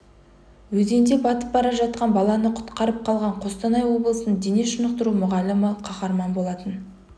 өзенде батып бара жатқан баланы құтқарып қалған қостанай облысының дене шынықтыру мұғалімі қаһарман болған болатын